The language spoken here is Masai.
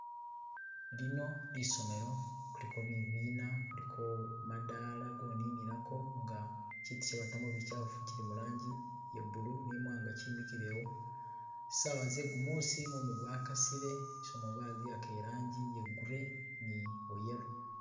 Lino lisomelo kuliko bibina kuliko madala go nina ko nga kitu kye batamo bichafu kili mulangi iye blue ne imwanga kimikilewo , sawa zegumusi mumu gwa kasile lisomelo baliwaka irangi iye grey ne bwo yellow.